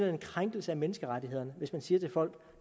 en krænkelse af menneskerettighederne hvis man siger til folk